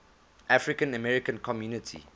african american community